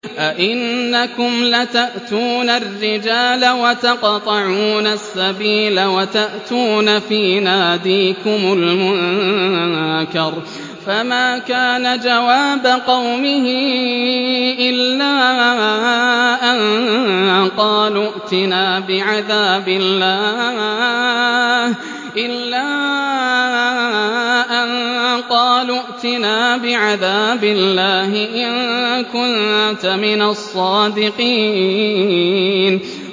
أَئِنَّكُمْ لَتَأْتُونَ الرِّجَالَ وَتَقْطَعُونَ السَّبِيلَ وَتَأْتُونَ فِي نَادِيكُمُ الْمُنكَرَ ۖ فَمَا كَانَ جَوَابَ قَوْمِهِ إِلَّا أَن قَالُوا ائْتِنَا بِعَذَابِ اللَّهِ إِن كُنتَ مِنَ الصَّادِقِينَ